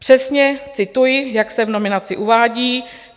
Přesně cituji, jak se v nominaci uvádí.